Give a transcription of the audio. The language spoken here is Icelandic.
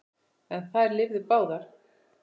En þær lifðu báðar.